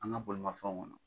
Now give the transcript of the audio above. An ka bolimafɛnw kɔnɔ.